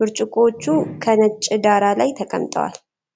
ብርጭቆዎቹ ከነጭ ዳራ ላይ ተቀምጠዋል፡፡